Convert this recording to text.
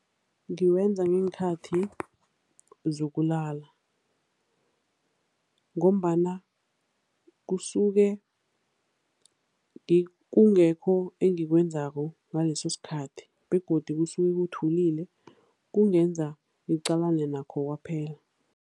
Ngiwenza ngenkhathi zokulala ngombana kusuke kungekho engikwenzako ngaleso sikhathi begodu kusuke kuthulile, kungenza ngiqalane nakho kwaphela.